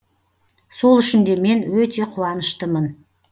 сол үшін де мен өте қуаныштымын